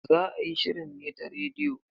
Za a yi shirin ne ta radiyo.